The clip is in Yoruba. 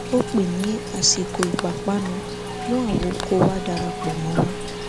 ó pé ni àsìkò ìpápánu mú àwo kó wá darapọ mọ wa